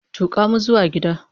Tuka mu zuwa gida!